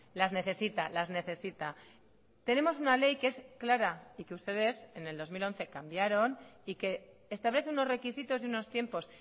las necesita las necesita tenemos una ley que es clara y que ustedes en el dos mil once cambiaron y que establece unos requisitos y unos tiempos